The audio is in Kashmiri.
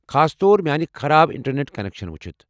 خاص طور میانِہ خراب انٹرنیٹ کنیکشنَ وُچھِتھ ۔